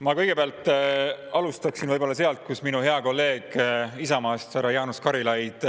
Ma kõigepealt alustaksin sealt, kus minu hea kolleeg Isamaast, härra Jaanus Karilaid